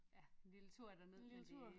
Lille tur derned men det